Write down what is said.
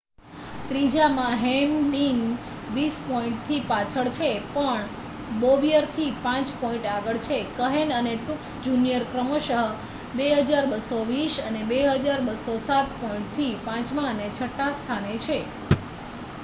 ત્રીજામાં Hamlin વીસ પોઈન્ટથી પાછળ છે પણ બોવયરથી 5 પોઈન્ટ આગળ છે કહેન અને ટ્રુક્સ જુનિયર ક્રમશ 2,220 અને 2,207 પોઈન્ટથી પાંચમાં અને છઠ્ઠા સ્થાને છે